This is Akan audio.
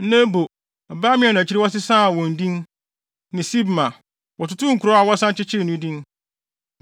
Nebo, Baal-Meon a akyiri no wɔsesaa wɔn din, ne Sibma. Wɔtotoo nkurow a wɔsan kyekyee no din.